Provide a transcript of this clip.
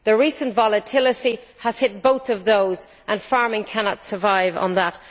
The recent volatility has hit both of those and farming cannot survive on that.